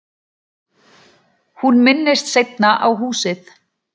Hún minntist seinna á húsið.